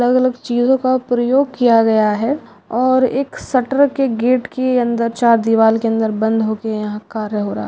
अलग अलग चीज़ो का प्रयोग किया गया है और एक शटर के गेट के अंदर चार दिवार के अंदर बंद हो के यहां कार्य हो रहा है।